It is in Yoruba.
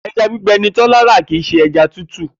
E̩ja gbígbe̩ ni Tó̩lá ra kì í s̩e e̩ja tútù